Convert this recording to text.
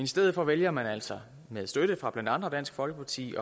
stedet for vælger man altså med støtte fra blandt andre dansk folkeparti